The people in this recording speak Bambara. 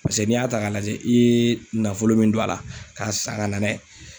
Paseke n'i y'a ta ka lajɛ i ye nafolo mun don a la, ka san ka na n'a ye